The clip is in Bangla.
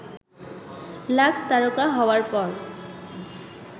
লাক্স তারকা হওয়ার পর